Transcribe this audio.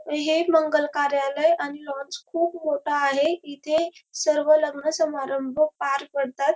हे मंगलकार्यालय आणि लॉन्स खूप मोठ आहे इथ सर्व लग्न सभारंभ पार पडतात.